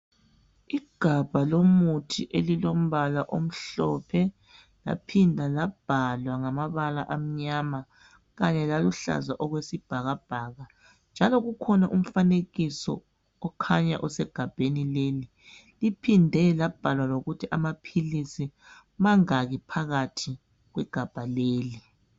Igabha lomuthi elilombala omhlophe laphinda labhalwa ngamabala amnyama kanye laluhlaza okwesibhakabhaka njalo kukhona umfanekiso okhanya usegabheni leli uphinde labhala lokuthi amaphilisi mangaki phakathi kwegabha leli.